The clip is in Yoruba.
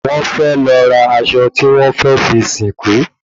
Wón fẹ́ lọ ra aṣọ tí wọ́n fẹ́ fi sìnkú